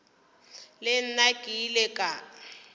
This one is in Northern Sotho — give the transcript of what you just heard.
le nna ke ile ka